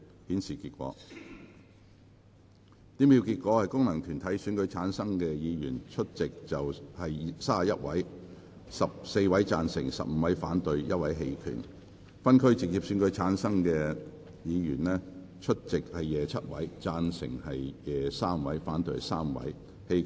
主席宣布經由功能團體選舉產生的議員，有28人出席 ，16 人贊成 ，11 人反對；而經由分區直接選舉產生的議員，有25人出席 ，3 人贊成 ，22 人反對。